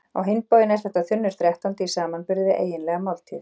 Á hinn bóginn er þetta þunnur þrettándi í samanburði við eiginlega máltíð.